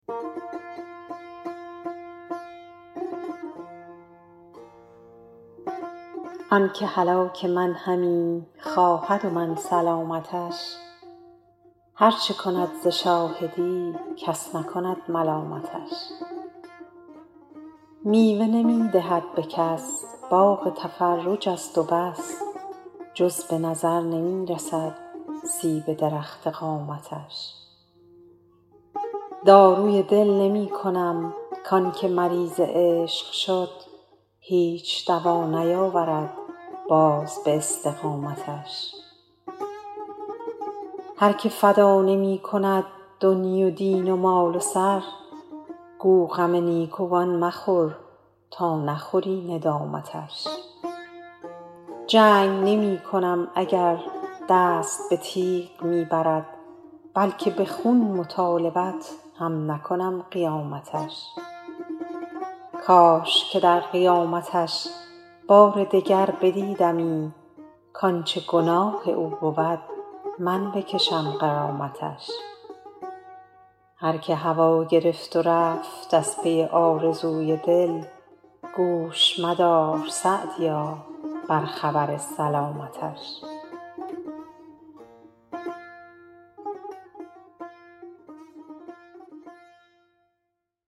آن که هلاک من همی خواهد و من سلامتش هر چه کند ز شاهدی کس نکند ملامتش میوه نمی دهد به کس باغ تفرج است و بس جز به نظر نمی رسد سیب درخت قامتش داروی دل نمی کنم کان که مریض عشق شد هیچ دوا نیاورد باز به استقامتش هر که فدا نمی کند دنیی و دین و مال و سر گو غم نیکوان مخور تا نخوری ندامتش جنگ نمی کنم اگر دست به تیغ می برد بلکه به خون مطالبت هم نکنم قیامتش کاش که در قیامتش بار دگر بدیدمی کانچه گناه او بود من بکشم غرامتش هر که هوا گرفت و رفت از پی آرزوی دل گوش مدار _سعدیا- بر خبر سلامتش